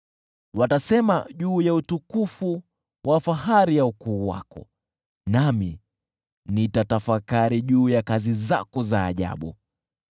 Watasema juu ya utukufu wa fahari ya ukuu wako, nami nitatafakari juu ya kazi zako za ajabu.